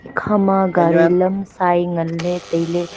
ekha ma gari lam sai ngan ley tailey.